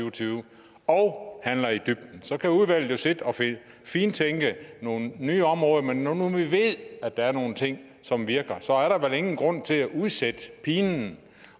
og tyve og at vi handler i dybden så kan udvalget sidde og fintænke nogle nye områder men når nu vi ved at der er nogle ting som virker så er der vel ingen grund til at udsætte pinen